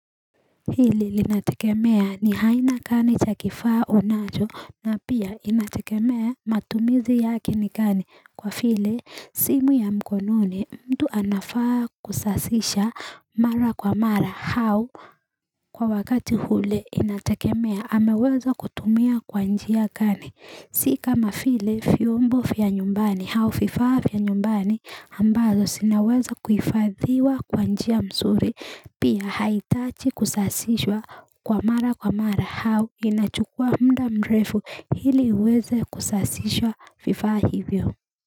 Hili linatekemea ni haina kani cha kifaa unajo na pia inatekemea matumizi yakin kani kwa file simu ya mkononi mtu anafaa kusasisha mara kwa mara hau kwa wakati hule inatekemea ameweza kutumia kwanjia kani. Sika mafile fiumbo fia nyumbani hau fifa fia nyumbani ambazo sinaweza kuifadhiwa kwa njia msuri pia haitachi kusasiswa kwa mara kwa mara hau inachukua mda mrefu hili uweze kusasiswa fifa hivyo.